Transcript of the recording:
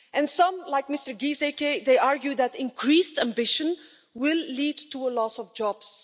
Some, like Mr Gieseke, argue that increased ambition will lead to a loss of jobs.